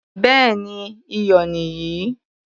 Béèni iyọ̀ nì yìí.